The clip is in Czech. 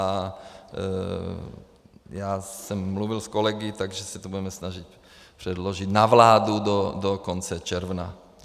A já jsem mluvil s kolegy, takže se to budeme snažit předložit na vládu do konce června.